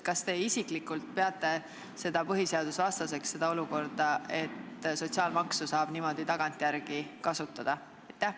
Kas te isiklikult peate põhiseadusvastaseks olukorda, kus sotsiaalmaksu saab niimoodi tagantjärele kasutada?